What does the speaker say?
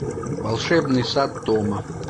волшебный сад тома